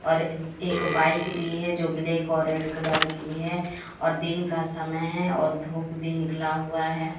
और एक बाइक भी है जो ब्लैक और रेड कलर की है और दिन का समय है और धूप भी निकला हुआ है।